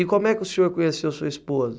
E como é que o senhor conheceu sua esposa?